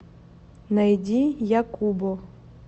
найди якубо